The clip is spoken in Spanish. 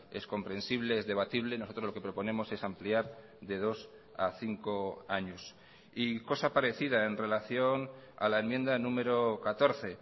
es comprensible es debatible nosotros lo que proponemos es ampliar de dos a cinco años y cosa parecida en relación a la enmienda número catorce